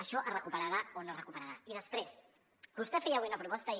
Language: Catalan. això es recuperarà o no es recuperarà i després vostè feia avui una proposta i